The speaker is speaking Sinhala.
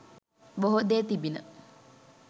බොහෝ දේ තිබිණ.